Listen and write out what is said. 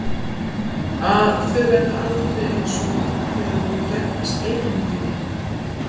Að þau verði aldrei einsog þegar þau voru gædd hans eigin lífi.